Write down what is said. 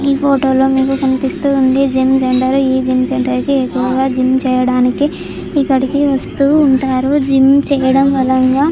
ఈ ఫోటోలో మీకు కనిపిస్తూ ఉంది జిమ్ సెంటర్ . ఈ జిమ్ సెంటర్లో అయితే ఎక్కువగా జిమ్ చేయడానికి ఇక్కడికి వస్తూ ఉంటారు. జిమ్ చేయడం వలన--